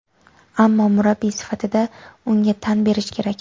Ammo murabbiy sifatida unga tan berish kerak.